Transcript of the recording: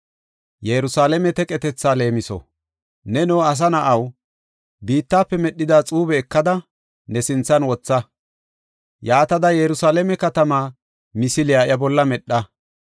“Neno asa na7aw, biittafe medhida xuube ekada, ne sinthan wotha; yaatada Yerusalaame katamaa misile iya bolla medha.